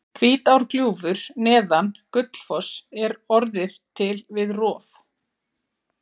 Hvítárgljúfur neðan Gullfoss er orðið til við rof